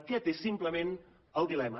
aquest és simplement el dilema